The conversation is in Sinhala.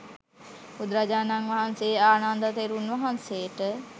බුදුරජාණන් වහන්සේ ආනන්ද තෙරුන් වහන්සේට